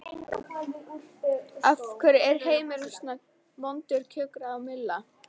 Af hverju er heimurinn svona vondur kjökraði Milla.